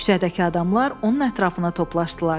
Küçədəki adamlar onun ətrafına toplaşdılar.